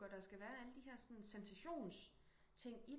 Og der skal være alle de her sensations ting